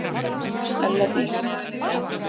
ELLA DÍS